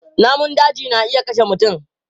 Namun daji na iya kashe mutum.